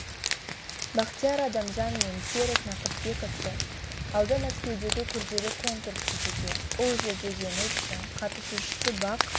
бахтияр адамжан мен серік нақыспековты алда мәскеудегі күрделі конкурс күтуде ол жерде жеңіс үшін қатысушысы бақ